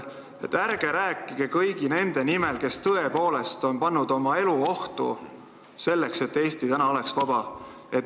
Ärge rääkige kõigi nende nimel, kes tõepoolest on pannud oma elu ohtu, selleks et Eesti oleks vaba.